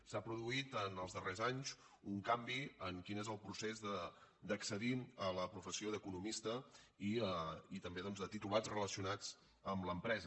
s’ha produït en els darrers anys un canvi en quin és el procés d’accedir a la professió d’economista i també doncs de titulats relacionats amb l’empresa